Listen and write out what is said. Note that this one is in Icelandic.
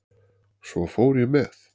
Svo fór ég með